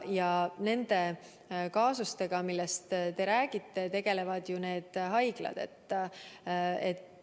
Ja nende kaasustega, millest te räägite, tegelevad ju haiglad ise.